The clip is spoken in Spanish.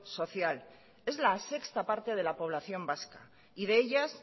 social es la sexta parte de la población vasca y de ellas